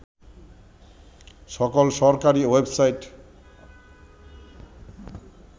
সকল সরকারি ওয়েবসাইট